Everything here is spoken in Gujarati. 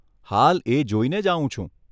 હાલ એ જોઈને જ આવું છું.